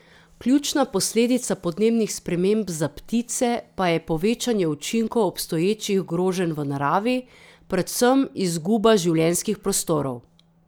Ključna posledica podnebnih sprememb za ptice pa je povečanje učinkov obstoječih groženj v naravi, predvsem izguba življenjskih prostorov.